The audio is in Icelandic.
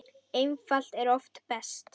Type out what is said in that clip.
Einfalt er oft best.